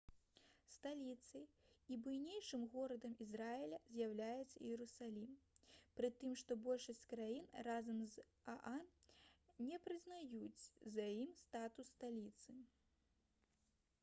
сталіцай і буйнейшым горадам ізраіля з'яўляецца іерусалім пры тым што большасць краін разам з аан не прызнаюць за ім статус сталіцы